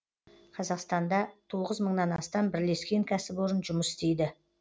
қазақстанда тоғыз мыңнан астам бірлескен кәсіпорын жұмыс істейді